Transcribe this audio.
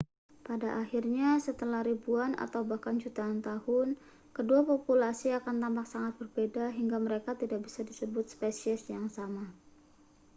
pada akhirnya setelah ribuan atau bahkan jutaan tahun kedua populasi akan tampak sangat berbeda hingga mereka tidak bisa disebut spesies yang sama